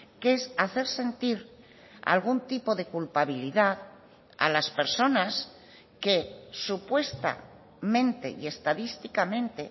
que es hacer sentir algún tipo de culpabilidad a las personas que supuestamente y estadísticamente